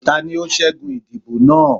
tání o ṣẹgun idibo naa?